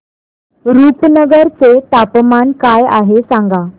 रुपनगर चे तापमान काय आहे सांगा